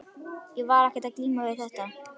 Ég var ekkert að glíma við þetta.